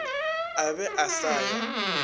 a be a sa ya